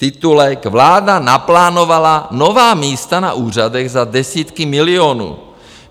Titulek: Vláda naplánovala nová místa na úřadech za desítky milionů.